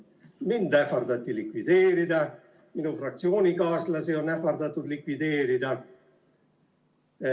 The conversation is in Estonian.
Mind ähvardati likvideerida, minu fraktsioonikaaslasi on ähvardatud likvideerida.